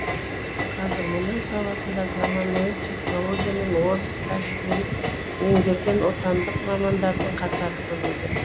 қазір мұнай саласында заманауи технология мен озық тәжірибені меңгерген отандық мамандардың қатары көбейген